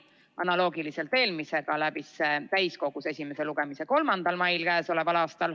Analoogiliselt eelmisega läbis see täiskogus esimese lugemise k.a 3. mail.